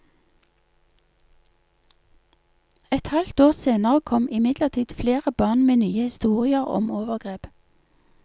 Et halvt år senere kom imidlertid flere barn med nye historier om overgrep.